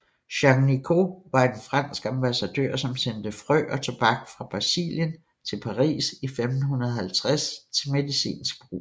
Jean Nicot var en fransk ambassadør som sendte frø og tobak fra Brasilien til Paris i 1550 til medicinsk brug